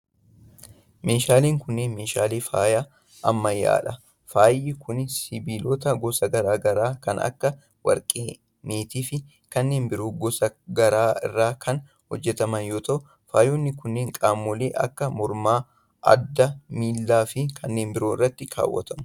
Meeshaaleen kunneen, meeshaalee faayaa ammayyaa dha. Faayni kun sibiilota gosa garaa garaa kan akka warqee, meetii fi kanneen biroo gosa garaa irraa kan hojjataman yoo ta'u, faayonni kunneen qaamolee akka:morma, adda, miila fi kanneen birootti kaawwatamu.